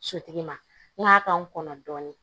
Sotigi ma n kɔnɔ dɔɔnin